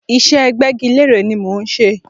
Ìṣe gbẹ́gilére ni mò ń ṣe.